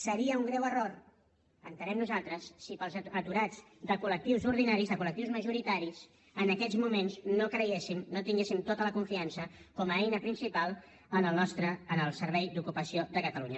seria un greu error entenem nosaltres si per als aturats de col·lectius ordinaris de col·lectius majoritaris en aquests moments no creguéssim no tinguéssim tota la confiança com a eina principal en el servei d’ocupació de catalunya